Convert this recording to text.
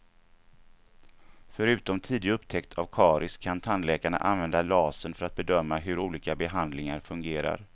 Förutom tidig upptäckt av karies kan tandläkarna använda lasern för att bedöma hur olika behandlingar fungerar.